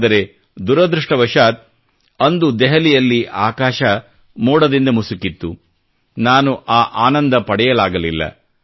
ಆದರೆ ದುರದೃಷ್ಟವಶಾತ್ ಅಂದು ದೆಹಲಿಯಲ್ಲಿ ಆಕಾಶ ಮೋಡದಿಂದ ಮುಸುಕಿತ್ತು ನಾನು ಆ ಆನಂದ ಪಡೆಯಲಾಗಲಿಲ್ಲ